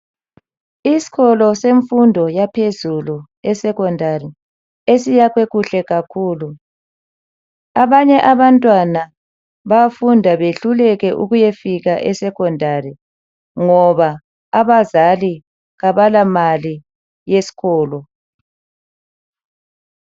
Iskolo semfundo yaphezulu esekhondari, esiyakhwe kuhle kakhulu. Abanye abantwana bayafunda behluleke ukuyafika esekhondari ngoba abazali kabalamali yeskholo.